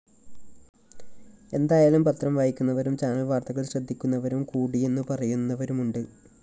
എന്തായാലും പത്രംവായിക്കുന്നവരും ചാനല്‍വാര്‍ത്തകള്‍ ശ്രദ്ധിക്കുന്നവരും കൂടിയെന്നു പറയുന്നവരുമുണ്ട്